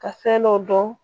Ka fɛn dɔ dɔn